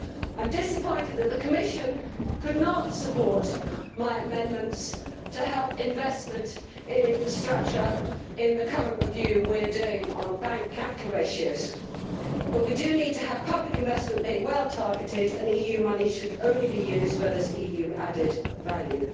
I am disappointed that the Commission could not support my amendments to help investment in infrastructure in the current review we are doing on bank capital ratios, but we do need to have public investment which is well targeted. EU money should only be used where there is EU added value.